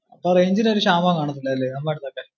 അപ്പൊ range ഇന് ഒരു ക്ഷാമോം കാണാത്തിലല്ലേ നമ്മളാടത്തൊക്കെ